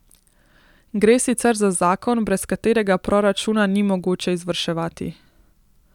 Gre sicer za zakon, brez katerega proračuna ni mogoče izvrševati.